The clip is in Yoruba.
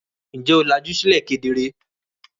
Ǹjẹ́ o làjú sílẹ̀ kedere?